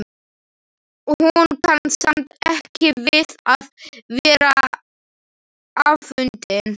Hún kann samt ekki við að vera afundin.